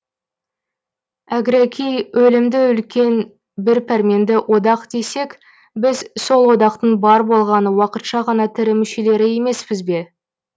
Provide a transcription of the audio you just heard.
әгәрәки өлімді үлкен бір пәрменді одақ десек біз сол одақтың бар болғаны уақытша ғана тірі мүшелері емеспіз бе